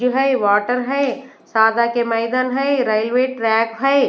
जो है वाटर है के मैदान है रेलवे ट्रैक है।